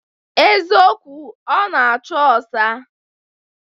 Eziokwu, ọ na-acho ọsa